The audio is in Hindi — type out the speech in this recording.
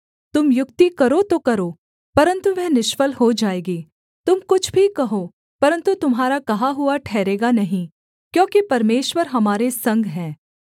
तुम युक्ति करो तो करो परन्तु वह निष्फल हो जाएगी तुम कुछ भी कहो परन्तु तुम्हारा कहा हुआ ठहरेगा नहीं क्योंकि परमेश्वर हमारे संग है